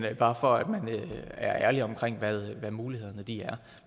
er bare for at man er ærlig omkring hvad mulighederne er